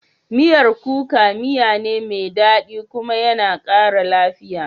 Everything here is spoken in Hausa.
Miyar kuka miyane mai dadi kuma yana kara lafiya.